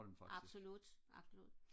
absolut absolut